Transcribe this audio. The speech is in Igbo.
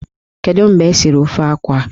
Kedu mgbe esiri ofe akwụ a?